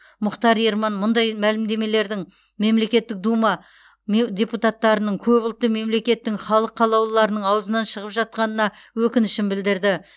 мұхтар ерман мұндай мәлімдемелердің мемлекеттік дума ме депутаттарының көпұлтты мемлекеттің халық қалаулыларының аузынан шығып жатқанына өкінішін білдірді